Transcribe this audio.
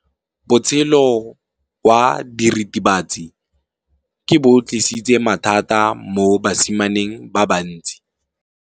Botshelo jwa diritibatsi ke bo tlisitse mathata mo basimaneng ba bantsi.